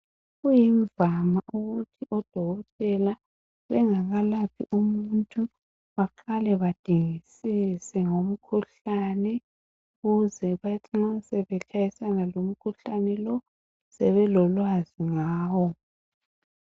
Kuyimvama ukuthi odokotela bengakalaphi umuntu baqale badingisise ngomkhuhlane ukuze mathi ma sebefesana lomkhuhlane lo sebelolwazi ngayo.